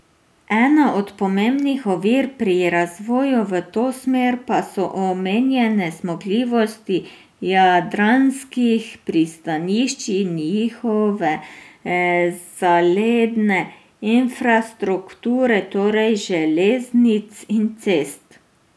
Ena od pomembnih ovir pri razvoju v to smer pa so omejene zmogljivosti jadranskih pristanišč in njihove zaledne infrastrukture, torej železnic in cest.